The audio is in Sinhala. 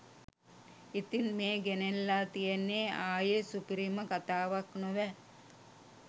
ඉතිං මේ ගෙනෙල්ලා තියෙන්නේ ආයේ සුපිරිම කථාවක් නොවැ